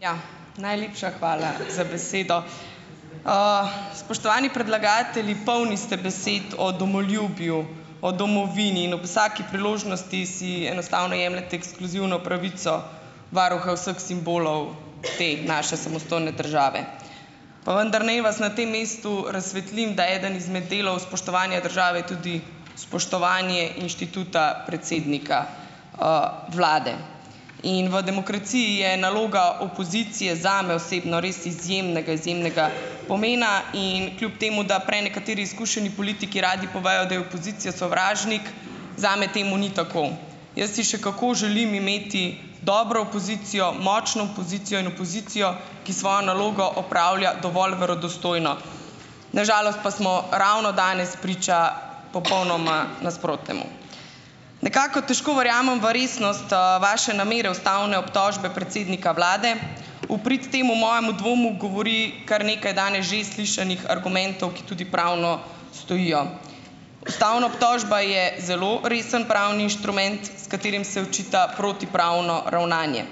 Ja, najlepša hvala za besedo. Spoštovani predlagatelji! Polni ste besed o domoljubju, o domovini in ob vsaki priložnosti si enostavno jemljete ekskluzivno pravico varuha vseh simbolov te naše samostojne države. Pa vendar naj vas na tem mestu razsvetlim, da eden izmed delov spoštovanja države je tudi spoštovanje inštituta predsednika, vlade. In v demokraciji je naloga opozicije, zame osebno res izjemnega izjemnega pomena in kljub temu, da prenekateri izkušeni politiki radi povejo, da je opozicija sovražnik, zame temu ni tako. Jaz si še kako želim imeti dobro opozicijo, močno opozicijo in opozicijo, ki svojo nalogo opravlja dovolj verodostojno, na žalost pa smo ravno danes priča popolnoma nasprotnemu. Nekako težko verjamem v resnost, vaše namere ustavne obtožbe predsednika vlade. V prid temu mojemu dvomu govori kar nekaj danes že slišanih argumentov, ki tudi pravno stojijo. Ustavna obtožba je zelo resen pravni inštrument, s katerim se očita protipravno ravnanje,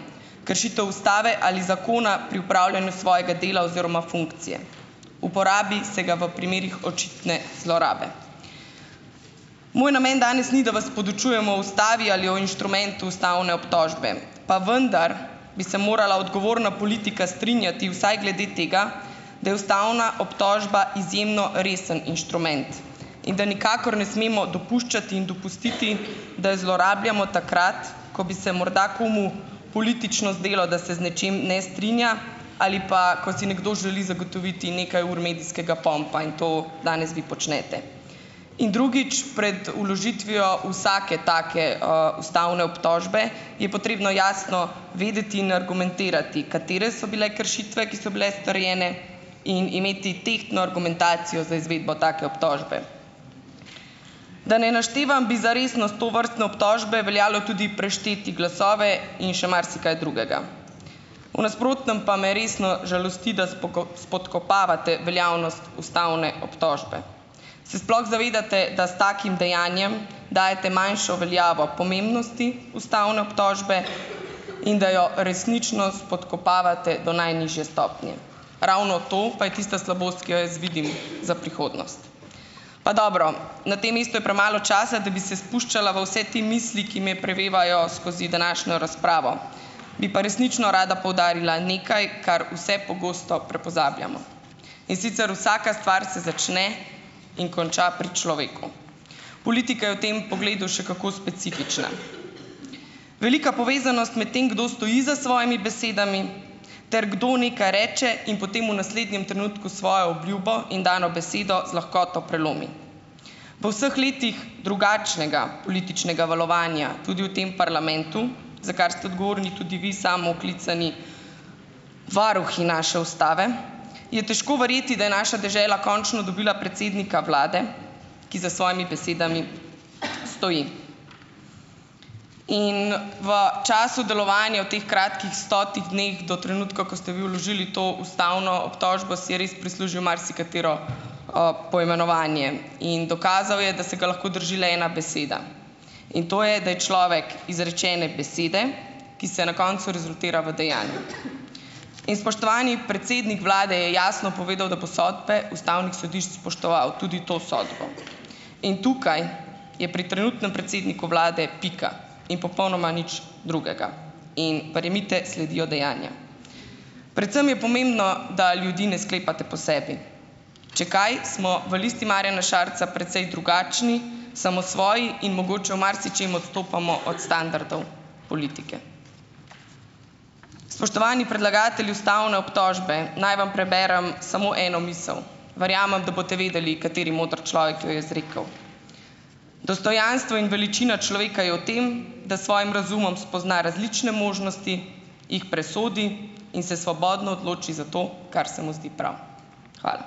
kršitev ustave ali zakona pri opravljanju svojega dela oziroma funkcije. Uporabi se ga v primerih očitne zlorabe. Moj namen danes ni, da vas podučujem o ustavi ali o inštrumentu ustavne obtožbe, pa vendar bi se morala odgovorna politika strinjati vsaj glede tega, da je ustavna obtožba izjemno resen inštrument, in da nikakor ne smemo dopuščati in dopustiti, da jo zlorabljamo takrat, ko bi se morda komu politično zdelo, da se z nečim ne strinja, ali pa, ko si nekdo želi zagotoviti nekaj ur medijskega pompa in to danes vi počnete. In drugič. Pred vložitvijo vsake take, ustavne obtožbe je potrebno jasno vedeti in argumentirati, katere so bile kršitve, ki so bile storjene, in imeti tehtno argumentacijo za izvedbo take obtožbe. Da ne naštevam, bi za resnost tovrstne obtožbe veljalo tudi prešteti glasove in še marsikaj drugega, v nasprotnem pa me resno žalosti, da spodkopavate veljavnost ustavne obtožbe. Se sploh zavedate, da s takim dejanjem dajete manjšo veljavo pomembnosti ustavne obtožbe in da jo resnično spodkopavate do najnižje stopnje? Ravno to pa je tista slabost, ki jo jaz vidim za prihodnost. Pa dobro, na tem mestu je premalo časa, da bi se spuščala v vse te misli, ki me prevevajo skozi današnjo razpravo, bi pa resnično rada poudarila nekaj, kar vse prepogosto pozabljamo. In sicer: vsaka stvar se začne in konča pri človeku. Politika je v tem pogledu še kako specifična. Velika povezanost med tem, kdo stoji za svojimi besedami, ter kdo nekaj reče in potem v naslednjem trenutku svojo obljubo in dano besedo z lahkoto prelomi. V vseh letih drugačnega političnega valovanja, tudi v tem parlamentu, za kar ste odgovorni tudi vi samooklicani varuhi naše ustave, je težko verjeti, da je naša dežela končno dobila predsednika vlade, ki za svojimi besedami stoji. In v času delovanja v teh kratkih stotih dneh, do trenutka, ko ste vi vložili to ustavno obtožbo, si je res prislužil marsikatero, poimenovanje in dokazal je, da se ga lahko drži le ena beseda in to je, da je človek izrečene besede, ki se na koncu rezultira v dejanjih. In spoštovani predsednik vlade je jasno povedal, da bo sodbe ustavnih sodišč spoštoval, tudi to sodbo. In tukaj je pri trenutnem predsedniku vlade pika in popolnoma nič drugega in verjemite, sledijo dejanja. Predvsem je pomembno, da ljudi ne sklepate po sebi. Če kaj, smo v Listi Marjana Šarca precej drugačni, samosvoji in mogoče v marsičem odstopamo od standardov politike. Spoštovani predlagatelji ustavne obtožbe! Naj vam preberem samo eno misel. Verjamem, da boste vedeli, kateri moder človek jo je izrekel: "Dostojanstvo in veličina človeka je v tem, da s svojim razumom spozna različne možnosti, jih presodi in se svobodno odloči za to, kar se mu zdi prav." Hvala.